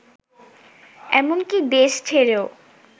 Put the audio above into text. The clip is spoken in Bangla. এমনকি দেশ ছেড়েও